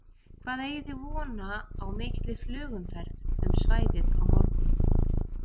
Hvað eigið þið vona á mikilli flugumferð um svæðið á morgun?